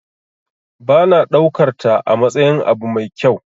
Ba na daukarta amatsayin abu mai kyau.